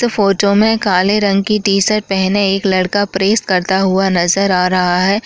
तो फोटो में काले रंग की टी शर्ट पहने एक लड़का प्रेस करता हुआ नज़र आ रहा है।